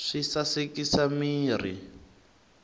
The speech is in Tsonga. swi sasekisa mirhi